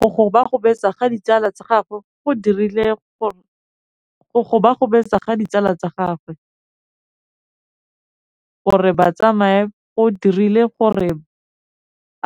Go gobagobetsa ga ditsala tsa gagwe, gore ba tsamaye go dirile gore